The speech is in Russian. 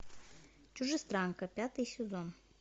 чужестранка пятый сезон